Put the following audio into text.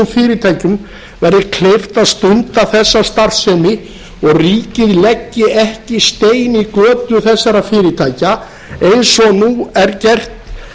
fyrirtækjum verði kleift að stunda þessa starfsemi og ríkið leggi ekki stein í götu þessara fyrirtækja eins og nú er gert